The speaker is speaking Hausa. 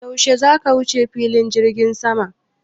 Yaushe zaka wuce filin jirgin sama?